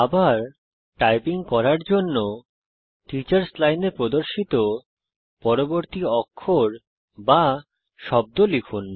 আবার টাইপিং করার জন্য টিচার্স লাইনে প্রদর্শিত পরবর্তী অক্ষর বা শব্দ লিখুন